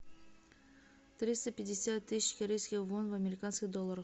триста пятьдесят тысяч корейских вон в американских долларах